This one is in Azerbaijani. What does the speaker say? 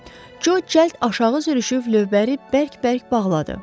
Jo cəld aşağı sürüşüb lövbəri bərk-bərk bağladı.